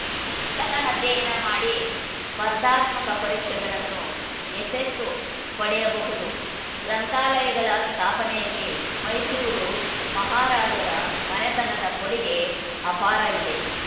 ಪುಸ್ತಕ ಅಧ್ಯಯನ ಮಾಡಿ ಸ್ಪರ್ಧಾತ್ಮಕ ಪರೀಕ್ಷೆಗಳನ್ನು ಯಶಸ್ಸು ಪಡೆಯಬಹುದು ಗ್ರಂಥಾಲಯಗಳ ಸ್ಥಾಪನೆಯಲ್ಲಿ ಮೈಸೂರು ಮಹಾರಾಜರ ಮನೆತನದ ಕೊಡುಗೆ ಅಪಾರ ಇದೆ